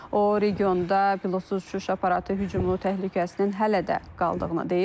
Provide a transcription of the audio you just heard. O, regionda pilotsuz uçuş aparatı hücumunun təhlükəsinin hələ də qaldığını deyib.